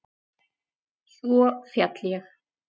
Svo féll ég.